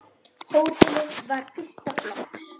Hótelið var fyrsta flokks.